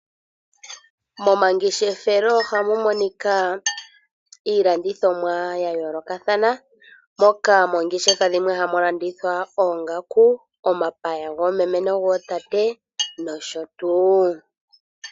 Momangeshefelo ohamu monika iilandithomwa ya yoolokathana moka moongeshefa dhimwe hamu landithwa oongaku, omapaya goomeme nogotate nosho tuu.